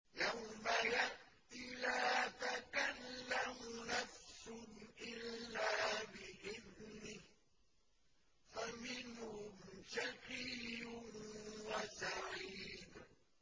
يَوْمَ يَأْتِ لَا تَكَلَّمُ نَفْسٌ إِلَّا بِإِذْنِهِ ۚ فَمِنْهُمْ شَقِيٌّ وَسَعِيدٌ